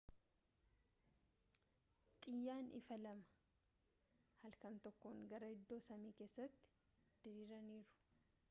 xiyyaan ifaa lama halkan tokkoon gara iddoo samii kessatti diriiraniiru